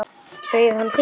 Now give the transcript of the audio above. Bauð hann þér?